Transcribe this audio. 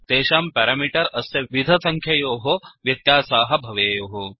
तेषां पेरामीटर् अस्य विध सङ्ख्ययोः व्यत्यासाः भवेयुः